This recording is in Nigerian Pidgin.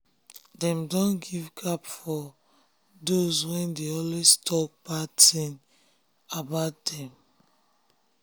dem don give gap for give gap for dos wey dey always talk bad tin about dem